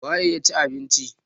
.waye ya cin abinci?